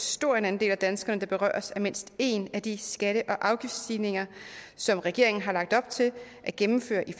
stor en andel af danskerne der berøres af mindst én af de skatte og afgiftsstigninger som regeringen har lagt op til at gennemføre i